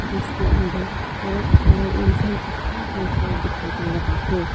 जिसके अन्दर बहोत सारा इंसान इकट्ठा होकर दिखाई दे रहा है।